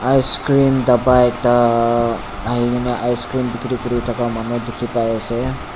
icecream dapa ekta aikae na icecream bikiri kurithaka manu dikhipaiase.